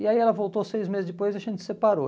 E aí ela voltou seis meses depois e a gente se separou.